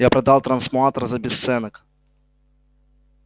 я продал трансмутатор за бесценок